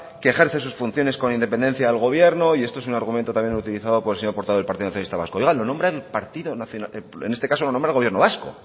que ejerce sus funciones con independencia al gobierno y esto es un argumento también utilizado por el señor portavoz del partido nacionalista vasco oiga lo nombra el partido nacionalista vasco en este caso lo nombra el gobierno vasco